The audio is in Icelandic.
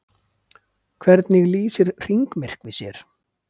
Hvernig lýsir hringmyrkvi sér?